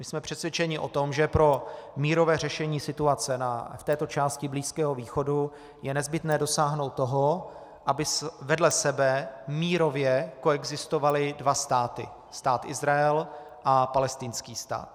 My jsme přesvědčeni o tom, že pro mírové řešení situace v této části Blízkého východu je nezbytné dosáhnout toho, aby vedle sebe mírově koexistovaly dva státy: Stát Izrael a palestinský stát.